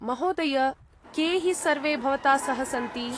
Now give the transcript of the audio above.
महोदय, के हि सर्वे भवता सह सन्ति?